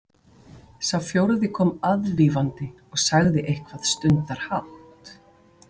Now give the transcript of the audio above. Sá fjórði kom aðvífandi og sagði eitthvað stundarhátt.